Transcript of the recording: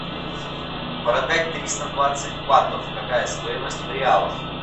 продать триста двадцать батов какая стоимость в реалах